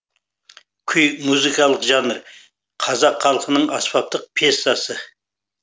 күй музыкалық жанр қазақ халқының аспаптық пьесасы